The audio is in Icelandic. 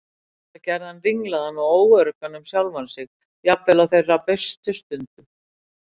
Þetta gerði hann ringlaðan og óöruggan um sjálfan sig, jafnvel á þeirra bestu stundum.